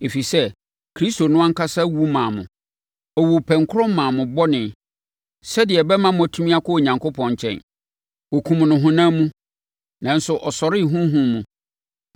Ɛfiri sɛ, Kristo no ankasa wu maa mo. Ɔwuu pɛnkorɔ maa mo bɔne sɛdeɛ ɛbɛma moatumi akɔ Onyankopɔn nkyɛn. Wɔkumm no honam mu, nanso ɔsɔree honhom mu,